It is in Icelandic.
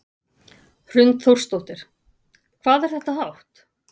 Hrund Þórsdóttir: Hvað er þetta hátt?